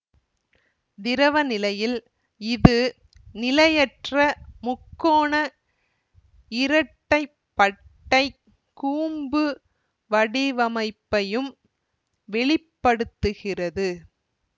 திரவநிலையில் இது நிலையற்ற முக்கோண இரட்டைப்பட்டைக் கூம்பு வடிவமைப்பையும் வெளி படுத்துகிறது